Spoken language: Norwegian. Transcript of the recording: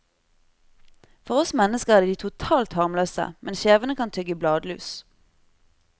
For oss mennesker er de totalt harmløse, men kjevene kan tygge bladlus.